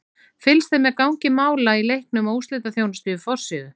Fylgst er með gangi mála í leiknum í úrslitaþjónustu á forsíðu.